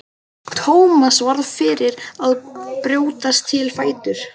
Thomas varð fyrri til að brjótast á fætur.